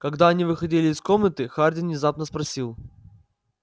когда они выходили из комнаты хардин внезапно спросил